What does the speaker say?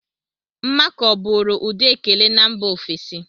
Mmakọ bụụrụ ụdị ekele na mba ofesi.